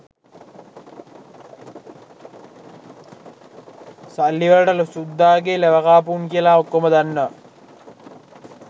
සල්ලි වලට සුද්දාගේ ලෙවකාපු උන් කියලා ඔක්කෝම දන්නවා